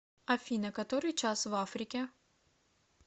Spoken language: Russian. афина который час в африке